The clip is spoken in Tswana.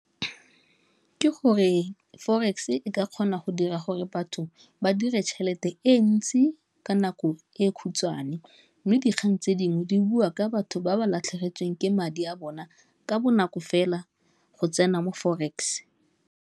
Ke gore forex e ka kgona go dira gore batho ba dire tšhelete e ntsi ka nako e e khutshwane, mme dikgang tse dingwe di bua ka batho ba ba latlhegetsweng ke madi a bona ka bonako fela go tsena mo Forex.